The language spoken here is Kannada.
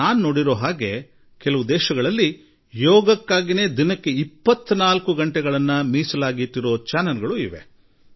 ಅಷ್ಟೇ ಅಲ್ಲ ಜಗತ್ತಿನ ಕೆಲವು ದೇಶಗಳಲ್ಲಿ 24 ಗಂಟೆಯೂ ಯೋಗಕ್ಕೆ ಮುಡಿಪಾದ ವಾಹಿನಿಗಳು ಕೆಲಸ ಮಾಡುತ್ತಿವೆ ಎಂಬುದನ್ನು ನಾನು ನೋಡಿರುವೆ